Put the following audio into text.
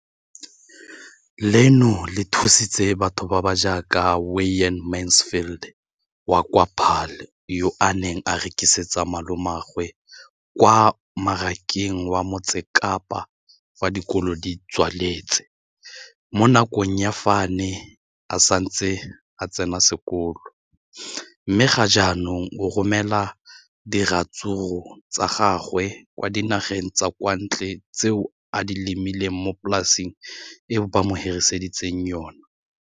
Leno le thusitse batho ba ba jaaka Wayne Mansfield, 33, wa kwa Paarl, yo a neng a rekisetsa malomagwe kwa Marakeng wa Motsekapa fa dikolo di tswaletse, mo nakong ya fa a ne a santse a tsena sekolo, mme ga jaanong o romela diratsuru tsa gagwe kwa dinageng tsa kwa ntle tseo a di lemileng mo polaseng eo ba mo hiriseditseng yona.